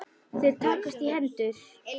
Þeir takast í hendur.